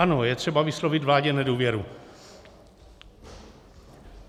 Ano, je třeba vyslovit vládě nedůvěru.